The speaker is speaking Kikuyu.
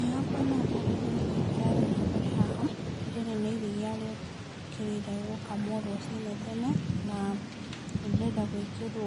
Ĩĩ hakwa no ndarĩrie nĩkĩ kĩrathiĩ na mbere haha. Rĩrĩ nĩ iria rĩũkĩrire gũkamwo rũcinĩ tene, na rĩrenda gwĩkĩrwo